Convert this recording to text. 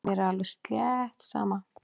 Mér er alveg slétt sama.